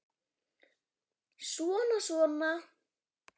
Svona og svona.